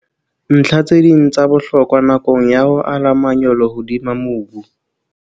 Ntlha tse ding tsa bohlokwa nakong ya ho ala manyolo hodima mobu